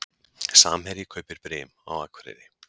Samherji kaupir Brim á Akureyri